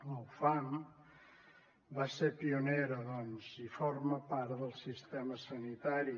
la ufam va ser pionera doncs i forma part del sistema sanitari